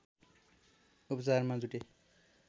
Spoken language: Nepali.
उपचारमा जुटे